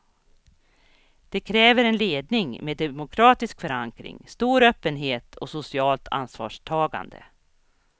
Det kräver en ledning med demokratisk förankring, stor öppenhet och socialt ansvarstagande.